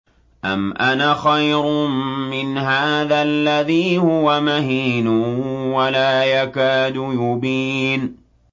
أَمْ أَنَا خَيْرٌ مِّنْ هَٰذَا الَّذِي هُوَ مَهِينٌ وَلَا يَكَادُ يُبِينُ